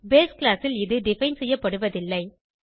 base class ல் இது define செய்யப்படுவதில்லை